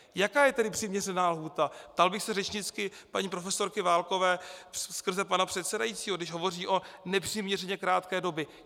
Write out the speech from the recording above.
Jaká je tedy přiměřená lhůta? ptal bych se řečnicky paní profesorky Válkové skrze pana předsedajícího, když hovoří o nepřiměřeně krátké době.